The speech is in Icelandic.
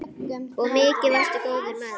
Og mikið varstu góður maður.